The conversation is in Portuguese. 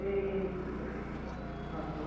Eita, no remo.